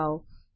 દબાઓ